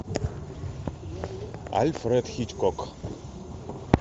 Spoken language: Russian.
альфред хичкок